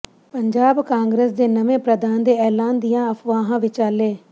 ਪੰਜਾਬ ਕਾਂਗਰਸ ਦੇ ਨਵੇਂ ਪ੍ਰਧਾਨ ਦੇ ਐਲਾਨ ਦੀਆਂ ਅਫਵਾਹਾਂ ਵਿਚਾਲੇ